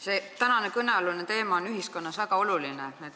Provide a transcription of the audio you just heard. See täna kõne all olev teema on ühiskonnas väga oluline.